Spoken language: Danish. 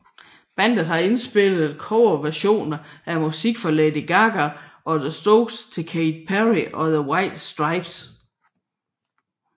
Bandet har indspillet coverversioner af musik fra Lady Gaga og The Strokes til Katy Perry og the White Stripes